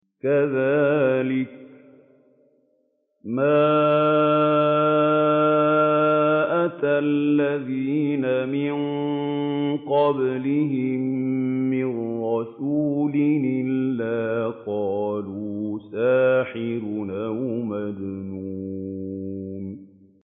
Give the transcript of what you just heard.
كَذَٰلِكَ مَا أَتَى الَّذِينَ مِن قَبْلِهِم مِّن رَّسُولٍ إِلَّا قَالُوا سَاحِرٌ أَوْ مَجْنُونٌ